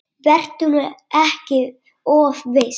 Vertu nú ekki of viss.